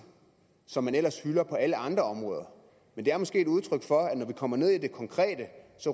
som man ellers hylder på alle andre områder men det er måske et udtryk for at når vi kommer ned i det konkrete